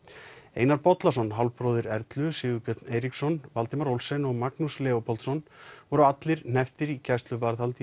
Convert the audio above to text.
Einar Bollason hálfbróðir Erlu Sigurbjörn Eiríksson Valdimar Olsen og Magnús Leópoldsson voru allir hnepptir í gæsluvarðhald í